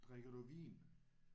Drikker du vin?